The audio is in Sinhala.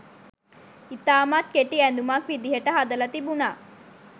ඉතාමත් කෙටි ඇඳුමක් විදිහට හදලා තිබුණා.